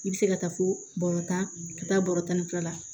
I bɛ se ka taa fo bɔrɔ tan ka taa bɔrɔ tan ni fila la